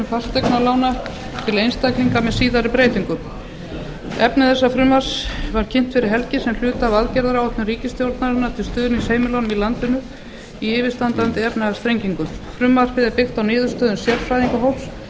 fasteignalána til einstaklinga með síðari breytingum efni frumvarpsins var kynnt fyrir helgi sem hluti af aðgerðaáætlun ríkisstjórnarinnar til stuðnings heimilunum í landinu í yfirstandandi efnahagsþrengingum frumvarpið er byggt á niðurstöðum sérfræðingahóps sem